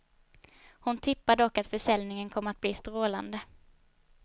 Hon tippar dock att försäljningen kommer att bli strålande.